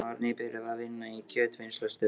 Amma var nýbyrjuð að vinna í kjötvinnslustöð.